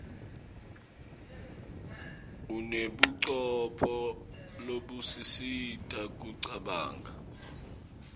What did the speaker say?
unebucopho lobusisita kucabanga